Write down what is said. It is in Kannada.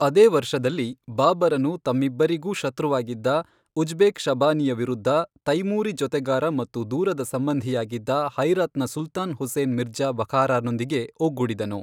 ಅದೇ ವರ್ಷದಲ್ಲಿ, ಬಾಬರನು ತಮ್ಮಿಬ್ಬರಿಗೂ ಶತ್ರುವಾಗಿದ್ದ ಉಜ್ಬೆ಼ಕ್ ಶಬಾನಿಯ ವಿರುದ್ಧ ತೈಮೂರಿ ಜೊತೆಗಾರ ಮತ್ತು ದೂರದ ಸಂಬಂಧಿಯಾಗಿದ್ದ ಹೆರಾತ್ನ ಸುಲ್ತಾನ್ ಹುಸೇನ್ ಮಿರ್ಜಾ ಬಖಾರಾನೊಂದಿಗೆ ಒಗ್ಗೂಡಿದನು.